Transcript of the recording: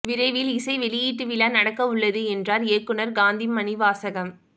விரைவில் இசை வெளியீட்டு விழா நடக்க உள்ளது என்றார் இயக்குனர் காந்தி மணிவாசகம்